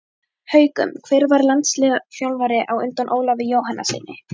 Haukum Hver var landsliðsþjálfari á undan Ólafi Jóhannessyni?